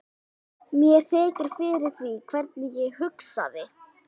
Mér þykir fyrir því hvernig ég hugsaði.